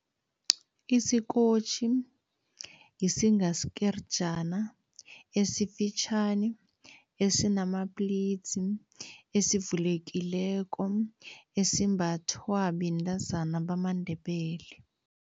Isikotjhi yisinga sikerjana esifitjhani, esinamaplitsi, esivulekileko, esimbathwa bentazana bamaNdebele.